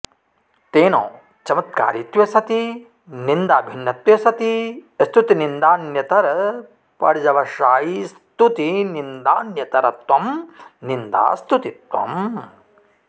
तेन चमत्कारित्वे सति निन्दाभिन्नत्वे सति स्तुतिनिन्दान्यतरपर्यवसायि स्तुतिनन्दान्यतरत्वं निन्दास्तुतित्वम्